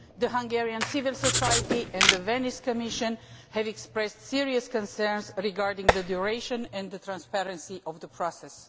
Hungarian civil society and the Venice Commission have expressed serious concerns regarding the duration and transparency of the process.